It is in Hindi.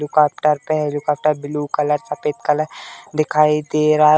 दूकोपटर पे है। दूकोपटर ब्लू कलर सफ़ेद कलर दिखाई दे रहा --